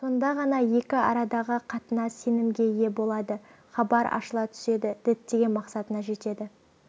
сонда ғана екі арадағы қатынас сенімге ие болады хабар ашыла түседі діттеген мақсатына жетеді